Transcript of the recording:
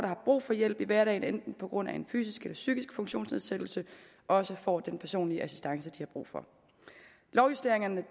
har brug for hjælp i hverdagen på grund af en enten fysisk eller psykisk funktionsnedsættelse også får den personlige assistance de har brug for lovjusteringerne